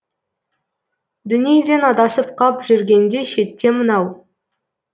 дүниеден адасып қап жүргенде шетте мынау